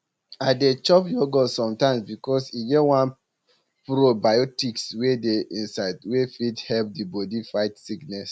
i um dey chop yogurt sometimes because e get one probiotics wey dey inside wey fit help di body fight sickness